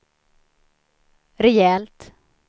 rejält